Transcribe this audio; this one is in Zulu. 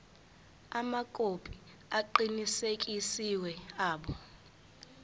amakhophi aqinisekisiwe abo